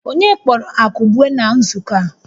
Onye kpọrọ Akụbue na nzukọ a?